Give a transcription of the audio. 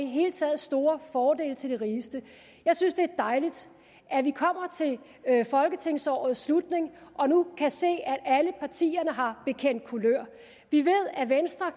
hele taget store fordele til de rigeste jeg synes det er dejligt at vi kommer til folketingsårets slutning og nu kan se at alle partierne har bekendt kulør vi ved